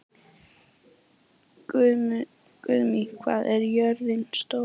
Guðmey, hvað er jörðin stór?